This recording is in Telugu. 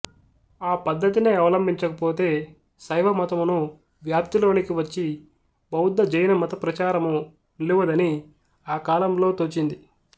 ఆపద్ధతినే అవలంబించకపోతే శైవమతమును వ్యాప్తిలోనికి వచ్చి బౌద్ధజైనమతప్రచారము నిలువదని ఆకాలములో తోచింది